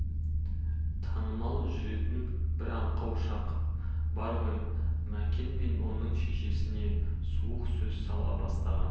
танымай жүретін бір аңқау шақ бар ғой мәкен мен оның шешесіне суық сөз сала бастаған